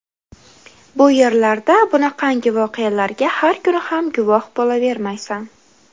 Bu yerlarda bunaqangi voqealarga har kuni ham guvoh bo‘lavermaysan.